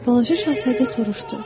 Balaca şahzadə soruşdu.